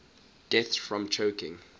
deaths from choking